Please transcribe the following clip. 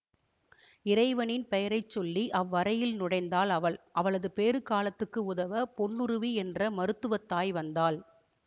இறைவனின் பெயரைச்சொல்லி அவ்வறையில் நுழைந்தாள் அவள் அவளது பேறுகாலத்துக்கு உதவ பொன்னுருவி என்ற மருத்துவத்தாய் வந்தாள்